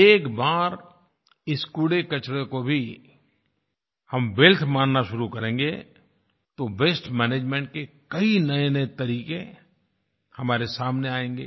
एक बार इस कूड़ेकचरे को भी हम वेल्थ मानना शुरू करेंगें तो वास्ते मैनेजमेंट के कई नएनए तरीके हमारे सामने आयेंगे